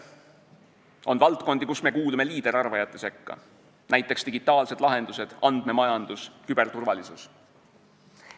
On mitmeid valdkondi, kus me kuulume liiderarvajate sekka, näiteks digitaalsed lahendused, andmemajandus, küberturvalisus.